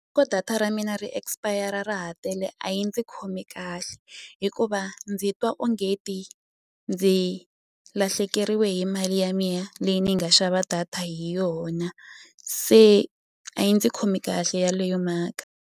data ra mina ri expire ra ha tele a yi ndzi khomi kahle hikuva ndzi twa onge ti ndzi lahlekeriwe hi mali ya mina leyi ni yi nga xava data hi yona se a yi ndzi khomi kahle yaleyo mhaka.